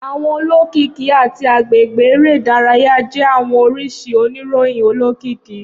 Awọn olokiki olokiki ati agbegbe ere idaraya jẹ awọn oriṣi oniroyin olokiki.